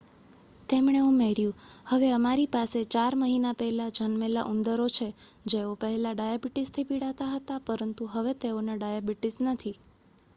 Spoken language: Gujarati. "તેમણે ઉમેર્યું "હવે અમારી પાસે 4 મહિના પહેલા જન્મેલા ઉંદરો છે જેઓ પહેલા ડાયાબિટીસથી પીડાતા હતા પરંતુ હવે તેઓને ડાયાબિટીસ નથી.""